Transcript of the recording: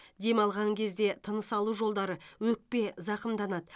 дем алған кезде тыныс алу жолдары өкпе зақымданады